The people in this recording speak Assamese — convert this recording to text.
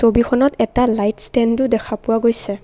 ছবিখনত এটা লাইট ষ্টেণ্ডো দেখা পোৱা গৈছে।